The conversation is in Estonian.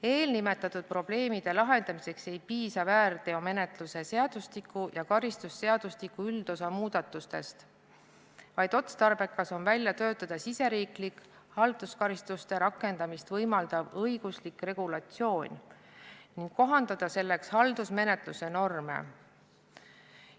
Eelnimetatud probleemide lahendamiseks ei piisa väärteomenetluse seadustiku ja karistusseadustiku üldosa muudatustest, vaid otstarbekas on välja töötada riigisisene halduskaristuste rakendamist võimaldav õiguslik regulatsioon ning kohandada selleks haldusmenetluse norme.